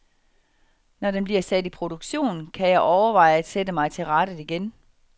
Når den bliver sat i produktion, kan jeg overveje at sætte mig til rattet igen.